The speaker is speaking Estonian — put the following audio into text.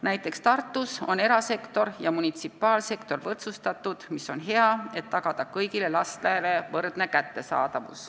Näiteks Tartus on erasektor ja munitsipaalsektor selles mõttes võrdsustatud ja see on hea lahendus, et tagada kõigile võrdsed võimalused.